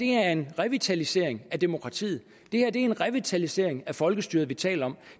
er en revitalisering af demokratiet det er en revitalisering af folkestyret vi taler om